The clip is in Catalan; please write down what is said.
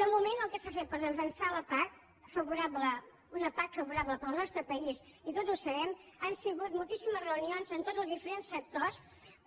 de moment el que s’ha fet per defensar una pac favorable per al nostre país i tots ho sabem han sigut moltíssimes reunions amb tots els diferents sectors